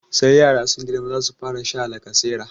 Sai yara sun girma za su fara sha lacasera.